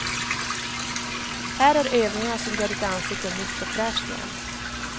Här är övningarna som gör ditt ansikte nytt och fräscht igen.